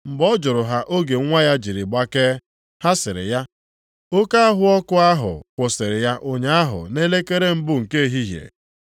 Mgbe ọ jụrụ ha oge nwa ya jiri gbakee, ha sịrị ya, “Oke ahụ ọkụ ahụ kwụsịrị ya ụnyaahụ nʼelekere mbụ nke ehihie.”